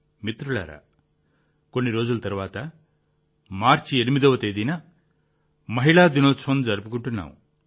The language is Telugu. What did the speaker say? మిత్రులారా కొన్ని రోజుల తర్వాత మార్చి 8వ తేదీన మహిళా దినోత్సవం జరుపుకుంటున్నాం